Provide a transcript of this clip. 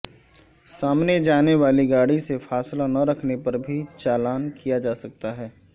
سامنے جانے والی گاڑی سے فاصلہ نہ رکھنے پر بھی چالان کیا جا سکتا ہے